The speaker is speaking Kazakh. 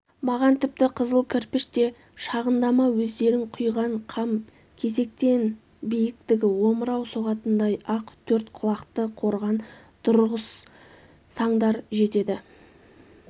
маған тіпті қызыл кірпіш те шығындама өздерің құйған қам кесектен биіктігі омырау соғатындай-ақ төрт құлақты қорған тұрғызсаңдар жетеді